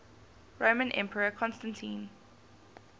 roman emperor constantine